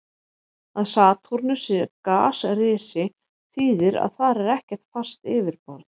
Að Satúrnus sé gasrisi þýðir að þar er ekkert fast yfirborð.